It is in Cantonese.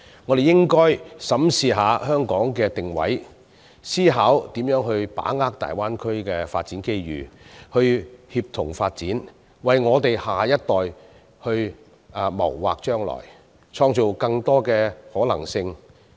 我們應該審視一下香港的定位，思考如何把握大灣區的發展機遇，協同發展，為下一代謀劃將來，創造更多的可能性。